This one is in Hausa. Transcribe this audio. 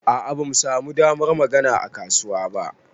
A'a bamu samu damar magana a kasuwa ba.